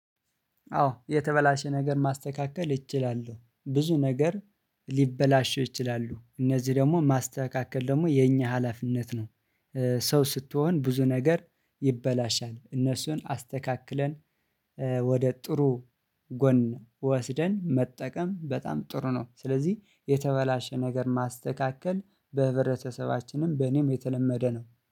አዎ የተበላሸ ነገር ማስተካከል እችላለሁ ብዙ ነገር ሊበላሸው ይችላሉ እነዚህ ደግሞ ማስተካከል ደግሞ የኛ ሀላፊነት ነው። ሰው ስትሆን ብዙ ነገር ይበላሻል እነሱን አስተካክለን ወደ ጥሩ ጎን ወስደን መጠቀም በጣም ጥሩ ነው። ስለዚህ የተበላሸ ነገር ማስተካከል በህብረተሰባችንም በእኔም የተለመደ ነው።